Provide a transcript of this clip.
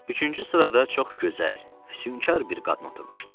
Üçüncü sırada çox gözəl, füsünkar bir qadın oturmuşdu.